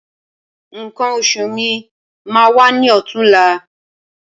Nǹkan oṣù mi máa wá ní ọ̀tunla